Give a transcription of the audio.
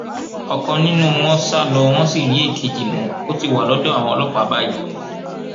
ọkan nínú wọn sà lọ wọn sì rí èkejì mú ó ti wà lọdọ àwọn ọlọpàá báyìí